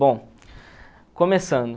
Bom, começando.